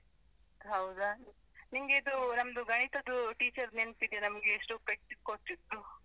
ಹೌದಾ? ನಿಂಗೆ ಇದು ನಮ್ದು ಗಣಿತದು teacher ನೆನಪಿದೆಯಾ ನಮ್ಗೆ ಎಷ್ಟು ಪೆಟ್ಟು ಕೊಡ್ತಿದ್ರು .